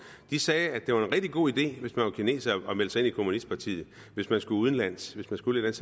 de sagde at det var en rigtig god idé hvis man var kineser at melde sig ind i kommunistpartiet hvis man skulle udenlands hvis man skulle et